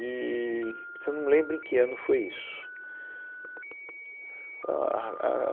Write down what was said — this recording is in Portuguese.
Eee, só não me lembro em que ano foi isso. Ãh, a ah ah ah